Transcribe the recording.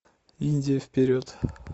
индия вперед